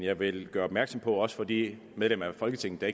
jeg vil gøre opmærksom på også over for de medlemmer af folketinget der